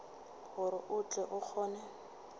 gore o tle o kgone